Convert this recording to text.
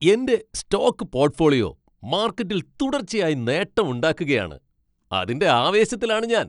എൻ്റെ stock portfolio മാർക്കറ്റിൽ തുടർച്ചയായി നേട്ടം ഉണ്ടാക്കുകയാണ്. അതിൻ്റെ ആവേശത്തിലാണ് ഞാൻ.